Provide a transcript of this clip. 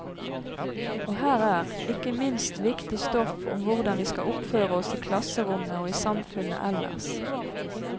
Og her er, ikke minst, viktig stoff om hvordan vi skal oppføre oss i klasserommet og i samfunnet ellers.